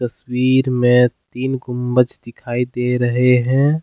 तस्वीर में तीन गुंबज दिखाई दे रहे हैं।